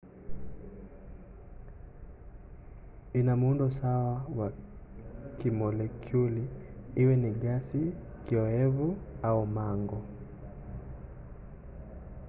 ina muundo sawa wa kimolekyuli iwe ni gesi kioevu au mango